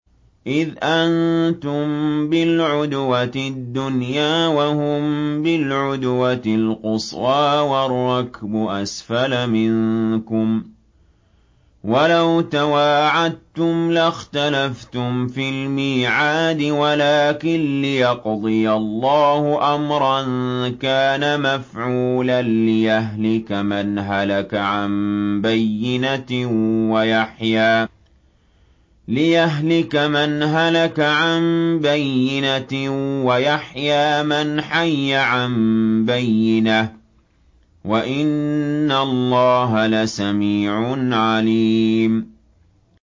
إِذْ أَنتُم بِالْعُدْوَةِ الدُّنْيَا وَهُم بِالْعُدْوَةِ الْقُصْوَىٰ وَالرَّكْبُ أَسْفَلَ مِنكُمْ ۚ وَلَوْ تَوَاعَدتُّمْ لَاخْتَلَفْتُمْ فِي الْمِيعَادِ ۙ وَلَٰكِن لِّيَقْضِيَ اللَّهُ أَمْرًا كَانَ مَفْعُولًا لِّيَهْلِكَ مَنْ هَلَكَ عَن بَيِّنَةٍ وَيَحْيَىٰ مَنْ حَيَّ عَن بَيِّنَةٍ ۗ وَإِنَّ اللَّهَ لَسَمِيعٌ عَلِيمٌ